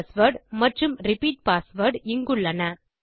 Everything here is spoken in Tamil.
பாஸ்வேர்ட் மற்றும் ரிப்பீட் பாஸ்வேர்ட் இங்குள்ளன